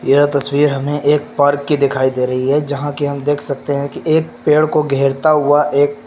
यह तस्वीर हमें एक पार्क की दिखाई दे रही है जहां कि हम देख सकते हैं कि एक पेड़ को घेरता हुआ एक--